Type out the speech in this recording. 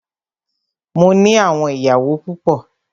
Mó ní àwọn ìyàwó púpọ.